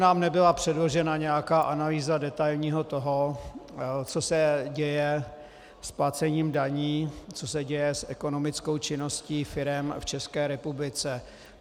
Nám nebyla předložena nějaká analýza detailního stavu, co se děje s placením daní, co se děje s ekonomickou činností firem v České republice.